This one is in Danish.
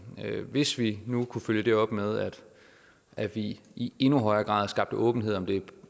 hvis vi nu kunne følge det op med at vi i endnu højere grad skabte åbenhed om det